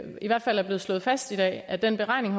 i hvert fald er blevet slået fast i dag at den beregning